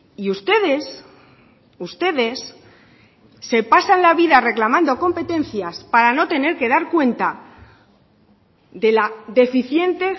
y ustedes ustedes se pasan la vida reclamando competencias para no tener que dar cuenta de la deficiente